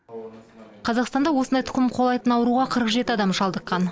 қазақстанда осындай тұқым қуалайтын ауруға қырық жеті адам шалдыққан